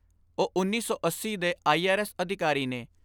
ਉਹ ਉੱਨੀ ਸੌ ਅੱਸੀ ਦੇ ਆਈ ਆਰ ਐਸ ਅਧਿਕਾਰੀ ਨੇ।